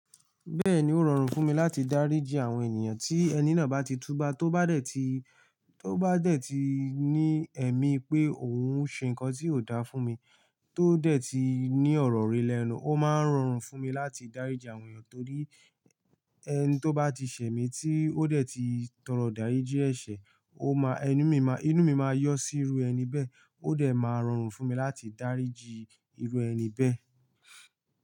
Bẹ́ẹ̀ni, ó rọrùn fún mi láti dáríji àwọn ènìyàn tí ẹni náà bá ti túba, tó bá dẹ̀ ti, tó bá dẹ̀ ti ní ẹ̀mí pé òun ń ṣe nǹkan tí ò dáa fún mi, tó dẹ̀ ti ní ọ̀rọ̀ rere lẹ́nu, ó máa ń rọrùn fún mi láti dáríji àwọn ènìyàn torí ẹni tó bá ti ṣẹ̀ mí tí ó dẹ̀ ti tọrọ ìdariji eṣẹ̀, ó máa ẹnu mi máa, inú mi máa yọ sí irú ẹni bẹ́ẹ̀, ó dẹ̀ máa rọrùn fún mi láti dáríji irú ẹni bẹ́ẹ̀